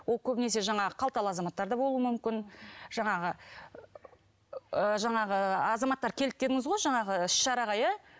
ол көбінесе жаңағы қалталы азаматтар да болуы мүмкін жаңағы ы жаңағы азаматтар келді дедіңіз ғой жаңағы іс шараға иә